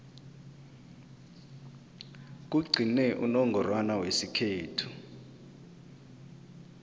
kugcine unongorwana wesikhethu